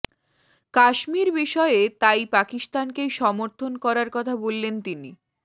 কাশ্মীর বিষয়ে তাই পাকিস্তানকেই সমর্থন করার কথা বললেন তিনি